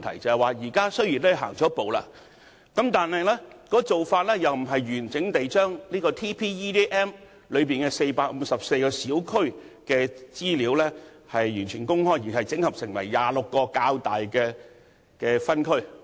雖然當局已踏出了第一步，但卻不是完整地將《全港人口及就業數據矩陣》中的454個小區的資料公開，而是將資料整合成26個較大的分區。